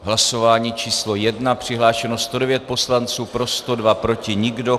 V hlasování číslo 1 přihlášeno 109 poslanců, pro 102, proti nikdo.